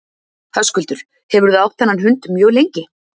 Höskuldur: Hefurðu átt þennan hund mjög lengi?